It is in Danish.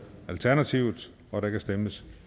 og der kan stemmes